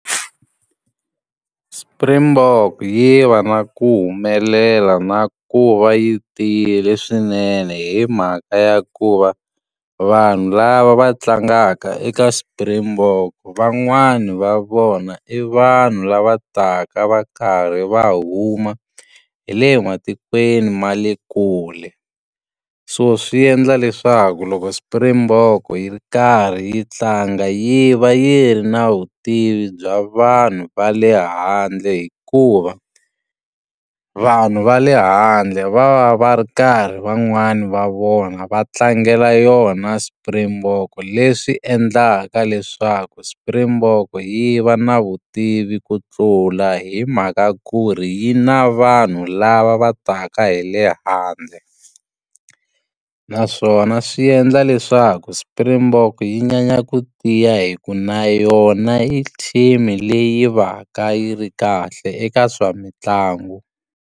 Springbok yi va na ku humelela na ku va yi tiyile swinene hi mhaka ya ku va, vanhu lava va tlangaka eka Springbok van'wani va vona i vanhu lava taka va karhi va huma hi le matikweni ma le kule. So swi endla leswaku loko Springbok yi ri karhi yi tlanga yi va yi ri nawu vutivi bya vanhu va le handle hikuva, vanhu va le handle va va va ri karhi van'wani va vona va tlangela yona Springbok. Leswi endlaka leswaku Springbok yi va na vutivi ku sula hi mhaka ku ri yi na vanhu lava va taka hi le handle. Naswona swi endla leswaku Springbok yi nyanya ku tiya hi ku na yona i team-i leyi va ka yi ri kahle eka swa mitlangu.